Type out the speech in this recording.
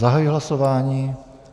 Zahajuji hlasování.